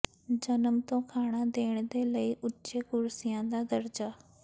ਜਨਮ ਤੋਂ ਖਾਣਾ ਦੇਣ ਦੇ ਲਈ ਉੱਚੇ ਕੁਰਸੀਆਂ ਦਾ ਦਰਜਾ